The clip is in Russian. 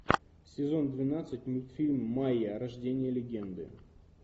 сезон двенадцать мультфильм майя рождение легенды